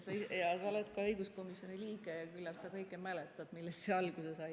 Sa oled ka õiguskomisjoni liige, küllap mäletad, millest see alguse sai.